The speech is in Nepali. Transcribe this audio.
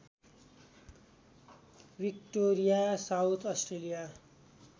Victoria South Australia